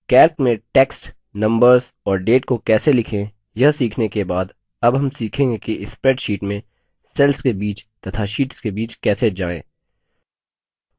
calc में text numbers और dates को कैसे लिखें यह सीखने के बाद अब हम सीखेंगे कि spreadsheet में cell के बीच तथा शीट्स के बीच कैसे जाएँ